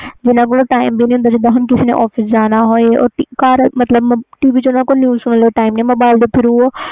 ਜਿਨ੍ਹਾਂ ਕੋਲ time ਨਹੀਂ ਹੈ ਗਏ ਜਿਵੇ ਤੁਸੀ office ਜਾਣਾ ਹੋਵੇ ਤੇ news mobile tharo